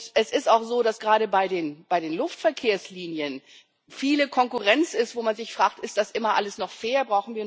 Es ist auch so, dass gerade bei den Luftverkehrslinien viel Konkurrenz ist, wo man sich fragt Ist das immer alles noch fair?